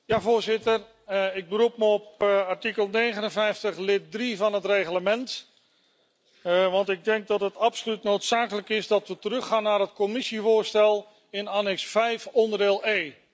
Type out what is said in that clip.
Voorzitter, ik beroep me op artikel 59, lid 3, van het Reglement, want ik denk dat het absoluut noodzakelijk is dat we teruggaan naar het Commissievoorstel, bijlage V, deel E.